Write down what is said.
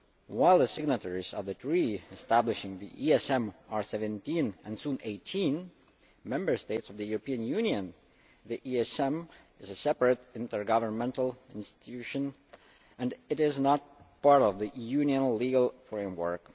While the signatories of the Treaty establishing the ESM are 17 and will soon be 18 Member States of the European Union, the ESM is a separate intergovernmental institution and is not part of the Union's legal framework.